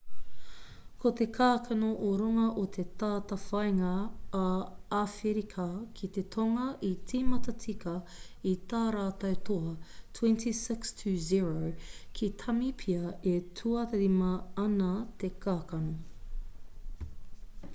ko ngā kākano o runga o te tātāwhāinga a āwherika ki te tonga i tīmata tika i tā rātou toa 26 - 00 ki tāmipia e tuarima ana te kākano